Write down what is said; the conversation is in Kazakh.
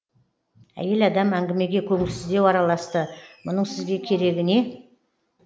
әйел адам әңгімеге көңілсіздеу араласты мұның сізге керегі не